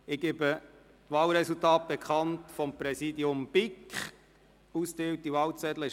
Bei allen Wahlgeschäften wurden 155 Wahlzettel ausgeteilt.